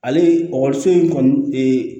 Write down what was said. Ale in kɔni